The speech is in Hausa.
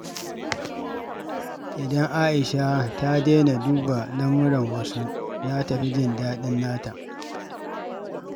Idan Aisha ta daina duba lamuran wasu, za ta fi jin daɗin nata.